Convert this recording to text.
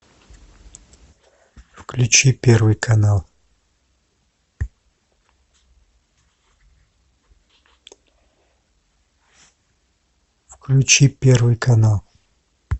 включи первый канал включи первый канал